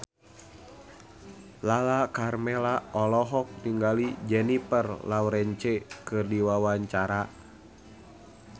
Lala Karmela olohok ningali Jennifer Lawrence keur diwawancara